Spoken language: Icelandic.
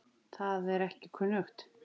Það er ekki kunnugt.